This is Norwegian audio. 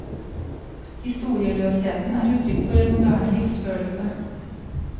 Historieløsheten er uttrykk for en moderne livsfølelse.